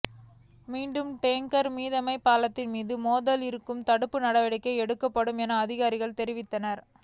மீண்டும் டேங்கா் மிதவைகள் பாலத்தின் மீது மோதாமல் இருக்க தடுப்பு நடவடிக்கை எடுக்கப்படும் என அதிகாரிகள் தெரிவித்தனா்